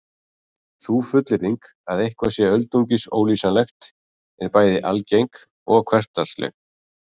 Sú fullyrðing að eitthvað sé öldungis ólýsanlegt er bæði algeng og hversdagsleg.